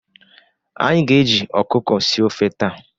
Anyị ga-eji ọkụkọ sie ofe taa.